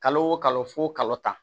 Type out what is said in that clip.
Kalo o kalo fo kalo tan